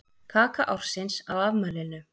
Kaka ársins á afmælinu